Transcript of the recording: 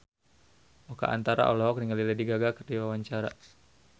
Oka Antara olohok ningali Lady Gaga keur diwawancara